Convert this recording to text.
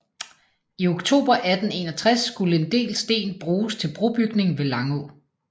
I oktober 1861 skulle en del sten bruges til brobygning ved Langå